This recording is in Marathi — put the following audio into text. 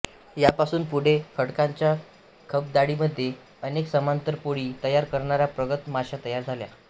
यापासून पुढे खडकांच्या खबदाडीमध्ये अनेक समांतर पोळी तयार करणाऱ्या प्रगत माश्या तयार झाल्या